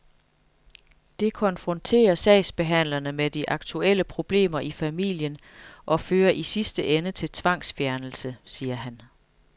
Det konfronterer sagsbehandlerne med de aktuelle problemer i familien og fører i sidste ende til tvangsfjernelse, siger han.